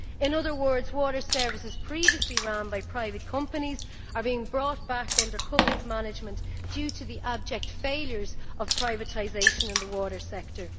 In other words, water services previously run by private companies are being brought back under public management due to the abject failures of privatisation in the water sector.